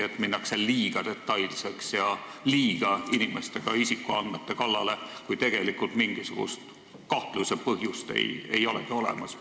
Äkki minnakse liiga detailseks ja ka inimeste isikuandmete kallale, kuigi tegelikult mingisugust kahtluse põhjust ei olegi olemas.